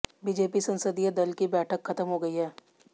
BJP संसदीय दल की बैठक खत्म हो गई है